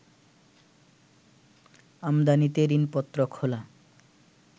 আমদানিতে ঋণপত্র খোলা